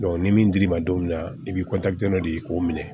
ni min dir'i ma don min na i bi dɔ de ye k'o minɛ